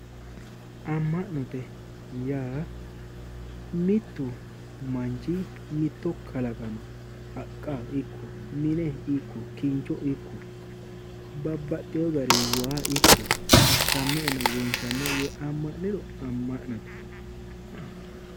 Amma'note yaa mittu manchi mitto kalaqama haqqa ikko kincho ikko babbaxeyo gari waa ikko assannoenna wonshannoe yee amma'niro amma'note